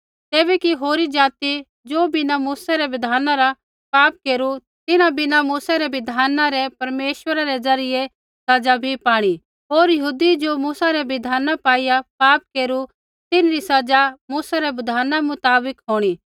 तैबै कि होरी ज़ाति ज़ो बिना मूसै रै बिधान रा पाप केरू तिन्हां बिना मूसै रै बिधाना रै परमेश्वरा रै ज़रियै दण्डित बी होंणा होर यहूदी ज़ो मूसै री बिधान पाईआ पाप केरू तिन्हरी सज़ा मूसै रै बिधाना मुताबिक होंणी